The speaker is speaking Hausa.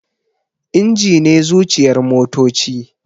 Inji ne zuciyar motoci